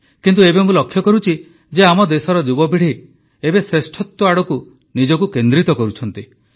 କିନ୍ତୁ ଏବେ ମୁଁ ଲକ୍ଷ୍ୟ କରୁଛି ଯେ ଆମ ଦେଶର ଯୁବପିଢ଼ି ଏବେ ଶ୍ରେଷ୍ଠତ୍ୱ ଆଡ଼କୁ ନିଜକୁ କେନ୍ଦ୍ରିତ କରୁଛନ୍ତି